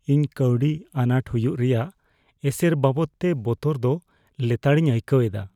ᱤᱧ ᱠᱟᱹᱣᱰᱤ ᱟᱱᱟᱴ ᱦᱩᱭᱩᱜ ᱨᱮᱭᱟᱜ ᱮᱥᱮᱨ ᱵᱟᱵᱚᱫᱛᱮ ᱵᱚᱛᱚᱨ ᱫᱚ ᱞᱮᱛᱟᱲᱤᱧ ᱟᱹᱭᱠᱟᱹᱣ ᱮᱫᱟ ᱾